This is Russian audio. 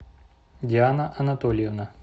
диана анатольевна